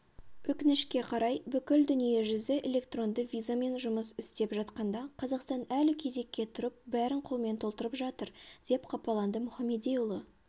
өкінішке қарай бүкіл дүние жүзі электронды визамен жұмыс істеп жатқанда қазақстан әлі кезекке тұрып бәрін қолмен толтырып жатыр деп қапаланды мұхамедиұлы